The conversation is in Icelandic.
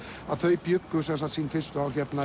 þau bjuggu sín fyrstu ár